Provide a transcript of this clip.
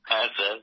হ্যাঁ স্যার